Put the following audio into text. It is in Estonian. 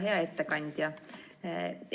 Hea ettekandja!